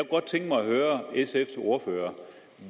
godt tænke mig at høre sfs ordfører